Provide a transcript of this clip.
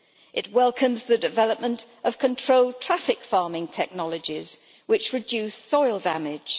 It welcomes the development of controlled traffic farming technologies which reduce soil damage.